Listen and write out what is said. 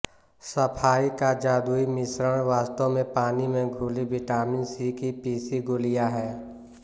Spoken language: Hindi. सफाई का जादुई मिश्रण वास्तव में पानी में घुली विटामिन सी की पीसी गोलियां है